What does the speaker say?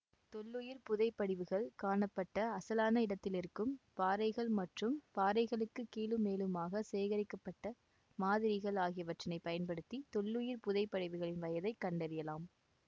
தொல்லுயிர் புதைப் படிவுகள் காணப்பட்ட அசலான இடத்திலிருக்கும் பாறைகள் மற்றும் பாறைகளுக்கு கீழும் மேலுமாக சேகரிக்கப்பட்ட மாதிரிகள் ஆகியனவற்றைப் பயன்படுத்தி தொல்லுயிர் புதைப்படிவுகளின் வயதை கண்டறியலாம்